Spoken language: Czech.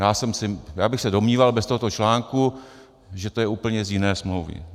Já bych se domníval bez tohoto článku, že to je úplně z jiné smlouvy.